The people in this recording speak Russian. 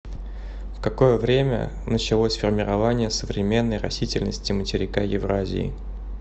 в какое время началось формирование современной растительности материка евразии